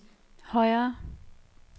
højere